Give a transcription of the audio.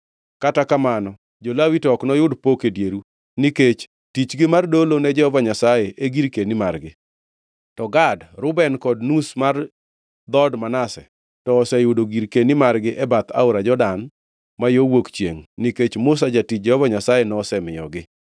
Kata kamano, jo-Lawi to ok noyud pok e dieru, nikech tichgi mar dolo ne Jehova Nyasaye e girkeni margi. To Gad, Reuben kod nus mar dhood Manase, to oseyudo girkeni margi e bath aora Jordan ma yo wuok chiengʼ nikech Musa jatich Jehova Nyasaye nosemiyogi.”